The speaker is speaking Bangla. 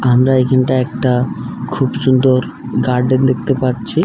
আমরা এখানটা একটা খুব সুন্দর গার্ডেন দেখতে পাচ্ছি।